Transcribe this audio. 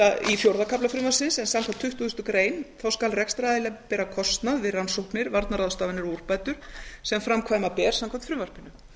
í fjórða kafla frumvarpsins samkvæmt tuttugustu greinar skal rekstraraðili bera kostnað við rannsóknir varnarráðstafanir og úrbætur sem framkvæma ber samkvæmt frumvarpinu